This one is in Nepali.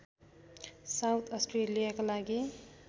साउथ अस्ट्रेलियाका लागि